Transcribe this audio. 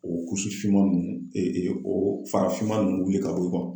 O finman ninnu o farafinma ninnu wili ka bɔ yen